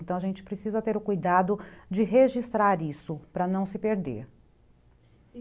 Então a gente precisa ter o cuidado de registrar isso para não se perder.